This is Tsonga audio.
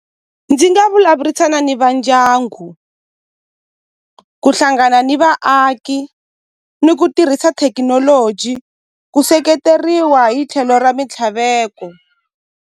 Ndzi nga vulavurisana ni va ndyangu ku hlangana ni vaaki ni ku tirhisa thekinoloji ku seketeriwa hi tlhelo ra mintlhaveko.